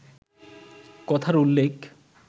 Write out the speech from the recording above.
কথার উল্লেখ